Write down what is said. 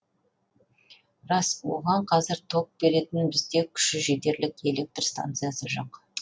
рас оған қазір ток беретін бізде күші жетерлік электр станциясы жоқ